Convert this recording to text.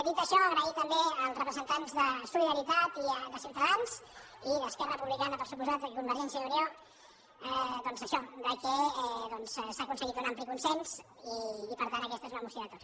dit això agrair també als representants de solidaritat de ciutadans i d’esquerra republicana per descomptat i de convergència i unió doncs això que s’ha aconseguit un ampli consens i per tant aquesta és una moció de tots